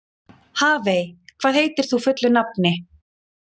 Hafey, hvað heitir þú fullu nafni?